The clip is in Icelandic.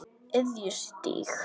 Iðjustíg